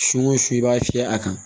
Su o su i b'a fiyɛ a kan